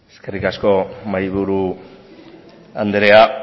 eskerrik asko mahaiburu andrea